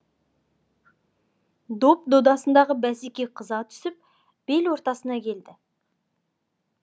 доп додасындағы бәсеке қыза түсіп бел ортасына келді